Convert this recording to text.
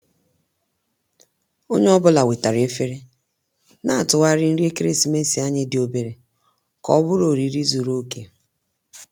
Onye ọ bụla wetara efere, na-atụgharị nri ekeresimesi anyị dị obere ka ọ bụrụ oriri zuru oke